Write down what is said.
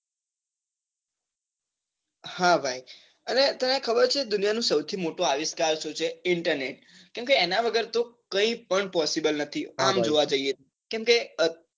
હા ભાઈ અને તને ખબર છે દુનિયા નું સૌથી મોટું આવિષ્કાર શું છે internet કેમ કે એના વગર તો કઈ પણ possible નથી આમ જોવા જઈએ તો કેમ કે